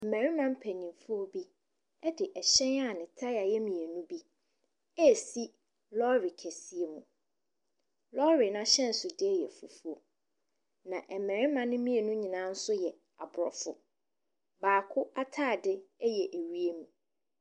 Mmarimma mpanimfoɔ bi te hyɛn a ne tae yɛ mmienu resi lɔɔre kɛseɛ mu. Lɔɔre no ahyɛnsodeɛ yɛ fufuo, na mmarima no nyinaa yɛ Aborofo. Baako ataade yɛ wiem.